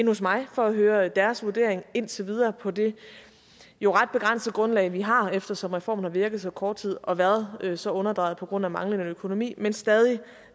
hos mig for at høre deres vurdering indtil videre på det jo ret begrænsede grundlag vi har eftersom reformen har virket så kort tid og været så underdrejet på grund af manglende økonomi men for stadig